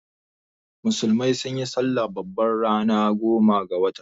Musulmai sunyi salla babba ranar goma ga watan.